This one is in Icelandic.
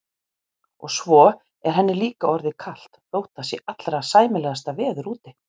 Og svo er henni líka orðið kalt þótt það sé allra sæmilegasta veður úti.